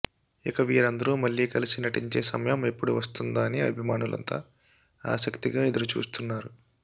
ఇక వీరిదరూ మళ్ళీ కలసి నటించే సమయం ఎప్పుడు వస్తుందా అని అభిమానులంతా ఆసక్తిగా ఎదురుచూస్తున్నారు